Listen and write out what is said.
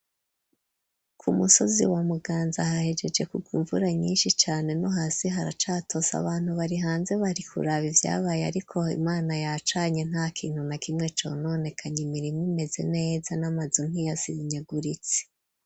Ku musozi, wa Muganza, hahejeje kugwa, imvura nyinshi cane; no hasi, haracatose abantu bari hanze, bari kuraba ivyabaye, ariko, Imana yacanye, nta kintu na kimwe, cononekaye, imirima imeze neza, n'amazu, ntiyasenyaguritse.